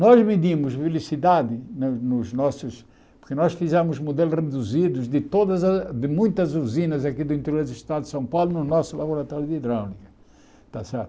Nós medimos velocidade nos nossos, porque nós fizemos modelos reduzidos de todas as de muitas usinas aqui do interior do estado de São Paulo no nosso laboratório de hidráulica. Está certo